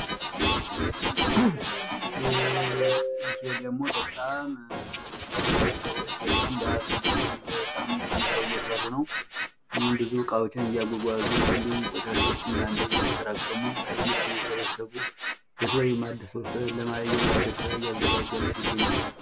ይሄ ደግሞ በጣም ብዙ ሰዎች በጣም ጠንክረው እየሰሩ ነው። ብዙ እቃዎችን እጓጓዙ እንድሁም ብዙ እቃዎችን እያጓጓዙ ቆሻሻዎቹን እየሰበሰቡ ለተለያዩ የማዕድን ስራ እያዘጋጇቸው ይገኛሉ።